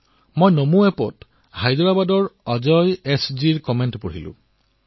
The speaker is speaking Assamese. মই নমো এপত হায়দৰাবাদৰ অজয় এজ মহোদয়ৰ এটা মন্তব্য পঢ়িছো